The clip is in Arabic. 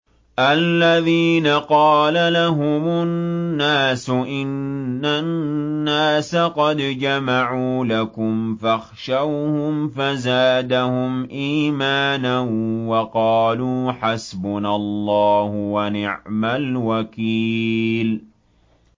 الَّذِينَ قَالَ لَهُمُ النَّاسُ إِنَّ النَّاسَ قَدْ جَمَعُوا لَكُمْ فَاخْشَوْهُمْ فَزَادَهُمْ إِيمَانًا وَقَالُوا حَسْبُنَا اللَّهُ وَنِعْمَ الْوَكِيلُ